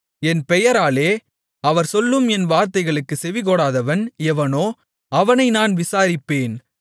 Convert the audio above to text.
என் பெயராலே அவர் சொல்லும் என் வார்த்தைகளுக்குச் செவிகொடாதவன் எவனோ அவனை நான் விசாரிப்பேன்